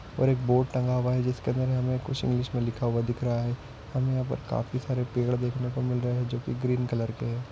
और एक बोर्ड टंगा हुआ है जिसके अंदर हमे कुछ इंग्लिश मे लिखा हुआ दिख रहा है हमे यहाँ पर कुछ पेड़ दिखने को मिल रहे है जो की ग्रीन कलर के है।